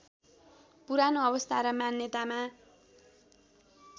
पुरानो अवस्था र मान्यतामा